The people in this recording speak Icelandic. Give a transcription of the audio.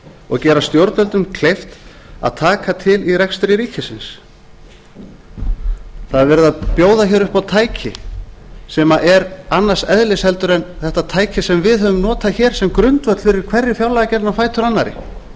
og gera stjórnvöldum kleift að taka til í rekstri ríkisins það er verið að bjóða hér upp á tæki sem er annars eðlis heldur en þetta tæki sem við höfum notað hér sem grundvöll fyrir hverri fjárlagagerðinni á fætur annarri